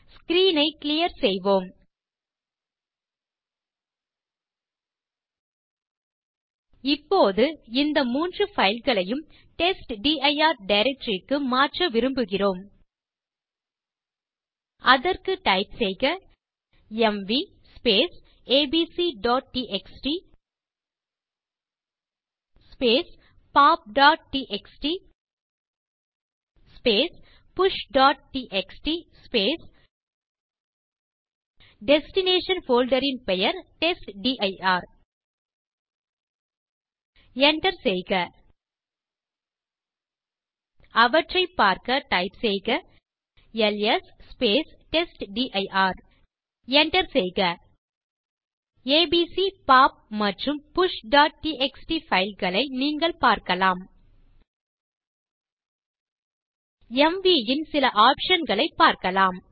screen ஐ clear செய்வோம் இப்போது இந்த 3 fileகளையும் டெஸ்ட்டிர் டைரக்டரி க்கு மாற்ற விரும்புகிறோம் அதற்கு டைப் செய்க எம்வி abcடிஎக்ஸ்டி popடிஎக்ஸ்டி pushடிஎக்ஸ்டி டெஸ்டினேஷன் போல்டர் ன் பெயர் டெஸ்ட்டிர் enter செய்க அவற்றைப் பார்க்க டைப் செய்க எல்எஸ் டெஸ்ட்டிர் enter செய்க ஏபிசி பாப் மற்றும் pushடிஎக்ஸ்டி fileகளை நீங்கள் பார்க்கலாம் எம்வி ன் சில ஆப்ஷன் களைப் பார்க்கலாம்